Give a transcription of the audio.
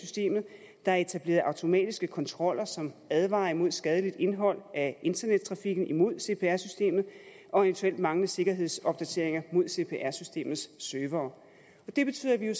systemet der er etableret automatiske kontroller som advarer imod skadeligt indhold af internettrafikken mod cpr systemet og eventuel manglende sikkerhedsopdateringer mod cpr systemets servere det betyder at vi jo